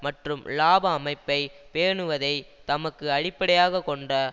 மற்றும் இலாப அமைப்பை பேணுவதை தமக்கு அடிப்படையாக கொண்ட